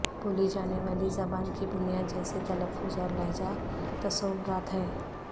بولی جانے والی زبان کی بنیاد جیسے تلفظ اور لہجہ تصورات ہیں